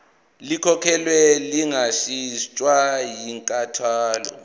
likhokhelwe lingashintshwa yinkantolo